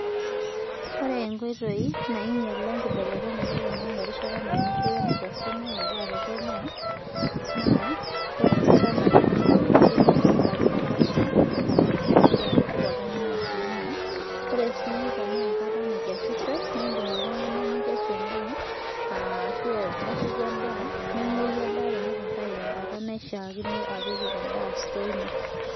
Ore enkoitoi nainyiala enkibelenyata oloingange erishata naunishii wenaikesishoi tekenya naa ore enkata naunishii kidim enchan Natasha nenap enaduo ndaa midipa oltung'ani atunoo ore sii tenaa enkata naikesishoi naa edm oltung'ani nikesu endaa ashu enashaki endaa nenguoi teneitu Entau tenkata naishakino apik endaa stores ino